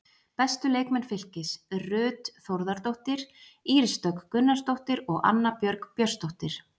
Bestu leikmenn Fylkis: Ruth Þórðardóttir, Íris Dögg Gunnarsdóttir og Anna Björg Björnsdóttir.